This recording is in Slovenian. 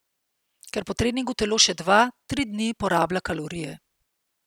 Ker po treningu telo še dva, tri dni porablja kalorije.